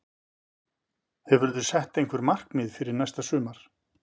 Hefurðu sett einhver markmið fyrir næsta sumar?